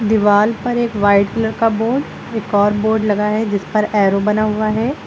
दीवाल पर एक वाइट कलर का बोर्ड एक और बोर्ड लगा है जिस पर एरो बना हुआ है।